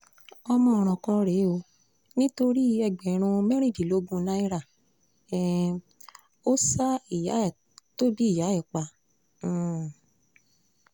ọmọ ọ̀ràn kan rèé o nítorí ẹgbẹ̀rún mẹ́rìndínlógún náírà um ò ṣa ìyá tó bí ìyá ẹ̀ pa um